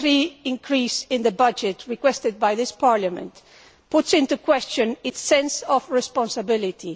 2.3 increase in the budget requested by this Parliament calls into question its sense of responsibility.